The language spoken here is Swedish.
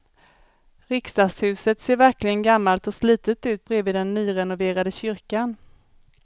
Riksdagshuset ser verkligen gammalt och slitet ut bredvid den nyrenoverade kyrkan.